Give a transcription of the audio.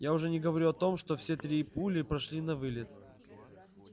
я уже не говорю о том что все три пули прошли навылет